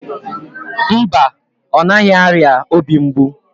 Mba, ọ naghị arịa obi mgbu